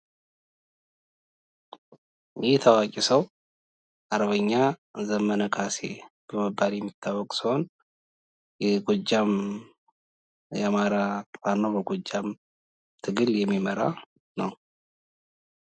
ይህ የታዋቂ ሰው አርበኛ ዘመነ ካሴ በመባል የሚታወቅ ሲሆን የጎጃም የአማራ ፋኖ በጎጃም ትግል የሚመራ ነው።